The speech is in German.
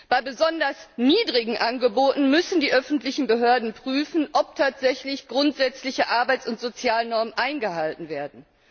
Bei besonders niedrigen Angeboten müssen die öffentlichen Behörden prüfen, ob tatsächlich grundsätzliche Arbeits und Sozialnormen eingehalten werden.